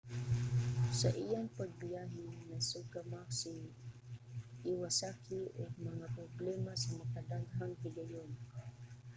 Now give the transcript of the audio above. sa iyang pagbiyahe nasugamak si iwasaki og mga problema sa makadaghang higayon